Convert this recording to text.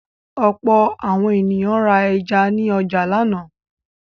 Ọ̀pọ̀ àwọn ènìyàn ra ẹja ní ọjà lánàá.